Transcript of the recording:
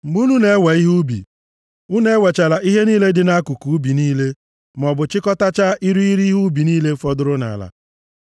“ ‘Mgbe unu na-ewe ihe ubi, unu ewechala ihe niile dị nʼakụkụ ubi niile, maọbụ chịkọtachaa irighiri ihe ubi niile fọdụrụ nʼala.